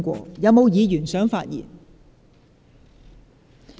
是否有議員想發言？